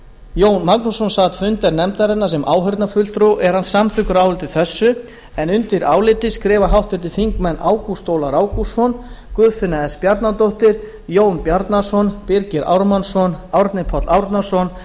jón magnússon sat fundi nefndarinnar sem áheyrnarfulltrúi og er hann samþykkur áliti þessu undir álitið skrifa háttvirtir þingmenn ágúst ólafur ágústsson guðfinna s bjarnadóttir jón bjarnason birgir ármannsson árni páll árnason